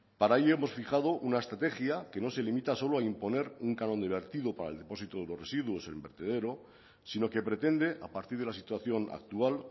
para ello hemos fijado una estrategia que no se limita solo a imponer un canon de vertido para el depósito de los residuos en el vertedero sino que pretende a partir de la situación actual